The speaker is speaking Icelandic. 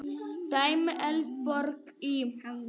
Dæmi: Eldborg í